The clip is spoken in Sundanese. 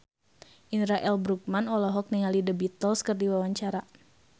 Indra L. Bruggman olohok ningali The Beatles keur diwawancara